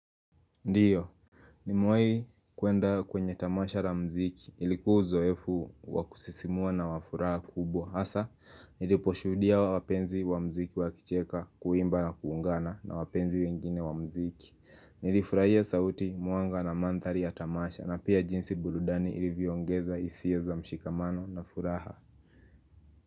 Ndiyo, nimewai kuenda kwenye tamasha la mziki. Ilikuwa uzoefu wakusisimua na wafuraha kubwa. Hasa, niliposhuhudia wapenzi wa mziki wakicheka kuimba na kuungana na wapenzi wengine wa mziki. Nilifurahia sauti, mwanga na mantari ya tamasha na pia jinsi burudani ilivyoongeza hisia za mshikamano na furaha.